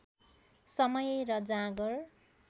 समय र जाँगर